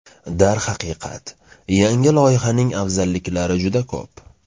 Darhaqiqat, yangi loyihaning afzalliklari juda ko‘p.